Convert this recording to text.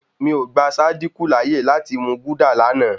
Mi ò gba Sádíkù láyè láti mú gúdà lánàá.